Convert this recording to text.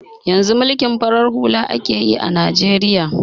Yanzu mulkin farar hula akeyi a najeriya